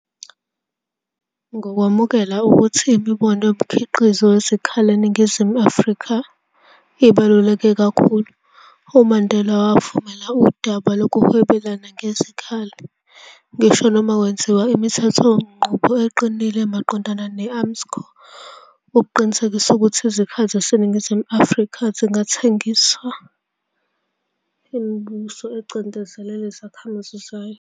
Ngokwamukela ukuthi imboni yomkhiqizo wezikhali eNingizimu Afrika, ibaluleke kakhulu, umandela wavumela udaba lokuhwebelana ngezikhali, ngisho noma kwenziwa imithethe-nqubo eqinile maqondana ne- Armscor ukuqinisekisa ukuthi izakhali zaseNingizimu Afrika zingathengiselwa imibuso ecindezela izakhamuza zayo.